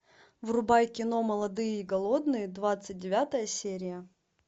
врубай кино молодые и голодные двадцать девятая серия